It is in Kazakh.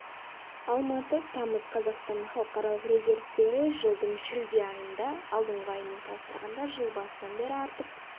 алматы тамыз қаз қазақстанның халықаралық резервтері жылдың шілде айында алдыңғы аймен салыстырғанда жыл басынан бері артып